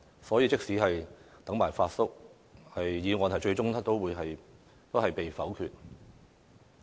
所以，即使"等埋'發叔'"，議案最終也會被否決。